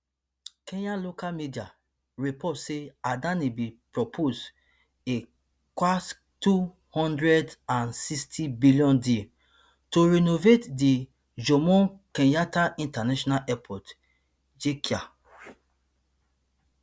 kenya local media report say adani bin propose a kshtwo hundred and sixty billion deal to renovate di jomo kenyatta international airport jkia